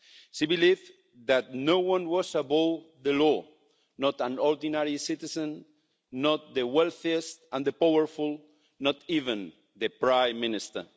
She believed that no one was above the law, not an ordinary citizen, not the wealthiest and the powerful, not even the Prime Minister.